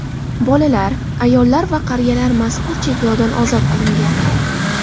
Bolalar, ayollar va qariyalar mazkur cheklovdan ozod qilingan.